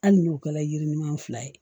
Hali n'u kɛla yiri ɲuman fila ye